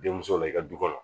Denmuso la i ka du kɔnɔ